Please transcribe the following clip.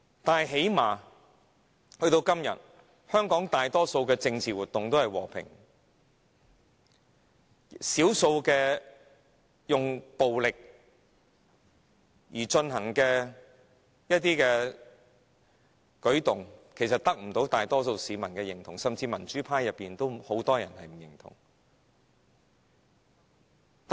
但是，最低限度到了今天，香港大多數的政治活動都是和平的，少數使用暴力的行動其實得不到大多數市民的認同，甚至民主派內也有很多人不認同。